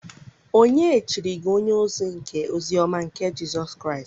Ònye chiri gi onye-ozi nke ozi-ọma nke Jisus Kraist?